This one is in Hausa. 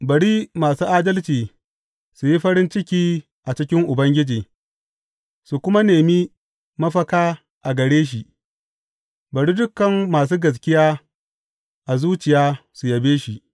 Bari masu adalci su yi farin ciki a cikin Ubangiji su kuma nemi mafaka a gare shi; bari dukan masu gaskiya a zuciya su yabe shi!